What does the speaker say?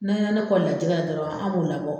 N'a ya ne kɔli la jigɛ la dɔrɔn an b'o labɔ